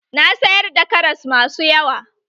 Na sayar da karas masu yawa.